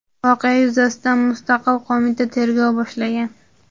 voqea yuzasidan "mustaqil qo‘mita" tergov boshlagan.